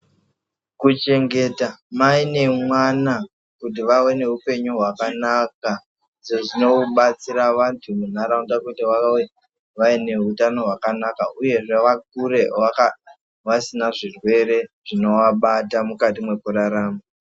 Kuchengeta mai nemwana kuti vave neupenyu hwakanaka ndizvo zvinobatsira vantu muntaraunda kuti vabe neutano hwakanaka uyezve vakure vasika zvirwere zvinovabata mukati mwekurarama.